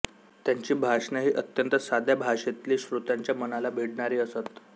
त्यांची भाषणे ही अत्यंत साध्या भाषेतली श्रोत्यांच्या मनाला भिडणारी असत